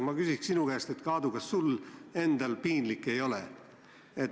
Ma küsin sinu käest, Aadu, kas sul endal piinlik ei ole.